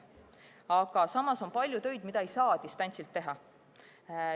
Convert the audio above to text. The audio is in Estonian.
Aga samas on palju töid, mida ei saa distantsilt teha.